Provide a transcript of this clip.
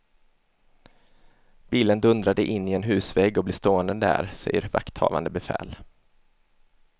Bilen dundrade in i en husvägg och blev stående där, säger vakthavande befäl.